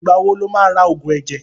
Ìgbà wo lo ma ra Ògùn ẹ̀jẹ̀?